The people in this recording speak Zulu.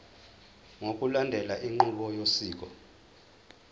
ngokulandela inqubo yosiko